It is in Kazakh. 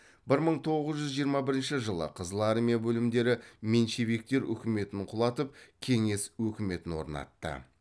бір мың тоғыз жүз жиырма бірінші жылы қызыл армия бөлімдері меньшевиктер үкіметін құлатып кеңес өкіметін орнатты